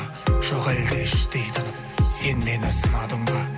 жоқ әлде іштей тынып сен мені сынадың ба